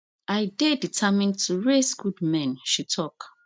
i dey determined to raise good men she tok